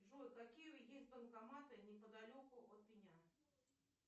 джой какие есть банкоматы неподалеку от меня